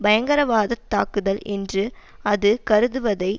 பயங்கரவாதத் தாக்குதல் என்று அது கருதுவதை